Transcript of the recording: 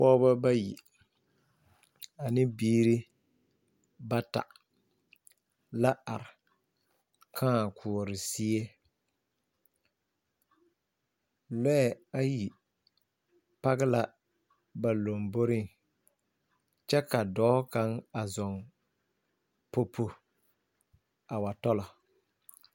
Pɔgeba bayi ane biiri bata la are kãã koɔroo zie lɔɛ ayi page la ba lomboriŋ kyɛ ka dɔɔ kaŋ a zɔm popo a wa tɔla